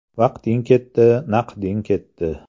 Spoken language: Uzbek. “Vaqting ketdi, naqding ketdi”.